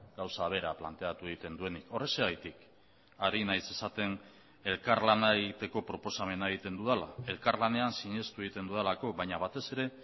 gauza bera planteatu egiten duenik horrexegatik ari naiz esaten elkarlana egiteko proposamena egiten dudala elkarlanean sinestu egiten dudalako baina batez ere